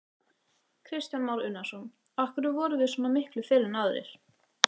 Kristján Már Unnarsson: Af hverju vorum við svona miklu fyrr en aðrir?